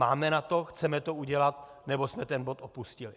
Máme na to, chceme to udělat, nebo jsme ten bod opustili?